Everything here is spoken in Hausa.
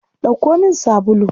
Ɗauko min sabulu.